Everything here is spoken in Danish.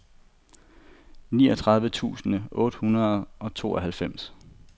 niogtredive tusind otte hundrede og tooghalvfems